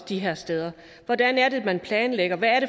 de her steder hvordan det er man planlægger hvad